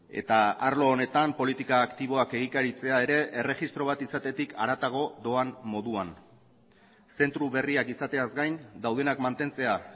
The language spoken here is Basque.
eta arlo honetan politika aktiboak egikaritzea ere erregistro bat izatetik haratago doan moduan zentro berriak izateaz gain daudenak mantentzea